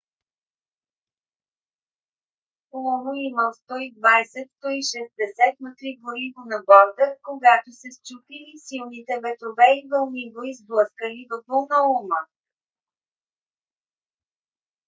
луно имал 120 – 160 м3 гориво на борда когато се счупил и силните ветрове и вълни го изблъскали във вълнолома